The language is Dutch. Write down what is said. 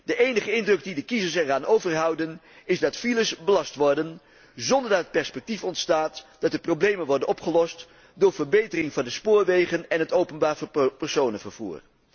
De enige indruk die de kiezers eraan overhouden, is dat files belast worden zonder dat perspectief ontstaat, dat de problemen worden opgelost door verbetering van de spoorwegen en het openbaar personenvervoer.